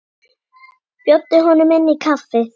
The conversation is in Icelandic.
Bjóddu honum inn í kaffi.